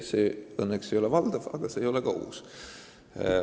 See õnneks ei ole valdav, aga ka mitte uus.